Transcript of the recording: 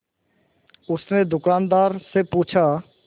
उसने दुकानदार से पूछा